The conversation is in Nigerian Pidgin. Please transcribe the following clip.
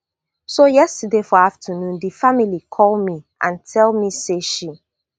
so yesterday for afternoon di family call me and tell me say she